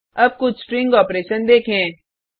अब कुछ string operation देखें